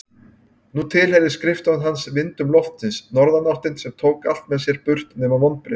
Nú tilheyrði skrifstofan hans vindum loftsins, norðanáttinni sem tók allt með sér burt nema vonbrigðin.